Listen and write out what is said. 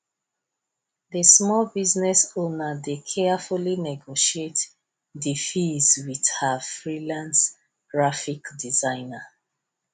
de small business owner dey carefully negotiate de fees wit her freelance graphic designer